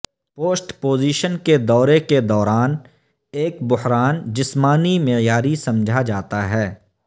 post position کے دورے کے دوران ایک بحران جسمانی معیاری سمجھا جاتا ہے